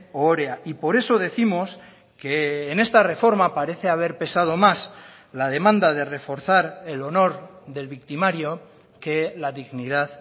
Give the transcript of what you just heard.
ohorea y por eso décimos que en esta reforma parece haber pesado más la demanda de reforzar el honor del victimario que la dignidad